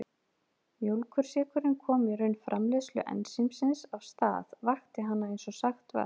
Mjólkursykurinn kom í raun framleiðslu ensímsins af stað, vakti hana eins og sagt var.